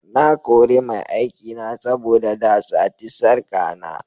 Na kore mai aikina saboda da sati sarka na.